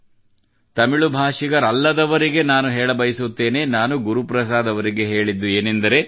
ತಮಿಳು ಭಾಷಿಗರಲ್ಲದವರಿಗೆ ನಾನು ಹೇಳಬಯಸುತ್ತೇನೆ ನಾನು ಗುರುಪ್ರಸಾದ್ ಅವರಿಗೆ ಹೇಳಿದ್ದು ಏನೆಂದರೆ